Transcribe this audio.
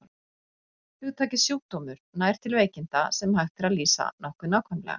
Hugtakið sjúkdómur nær til veikinda, sem hægt er að lýsa nokkuð nákvæmlega.